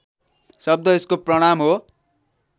शब्द यसको प्रमाण हो